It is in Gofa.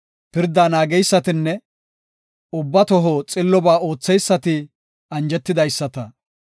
Pirdaa naageysatinne ubba toho xillobaa ootheysati anjetidaasaata.